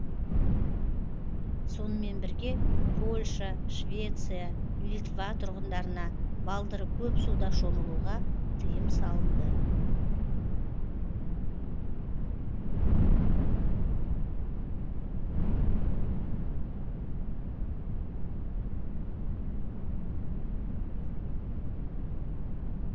сонымен бірге польша швеция литва тұрғындарына балдыры көп суда шомылуға тыйым салынды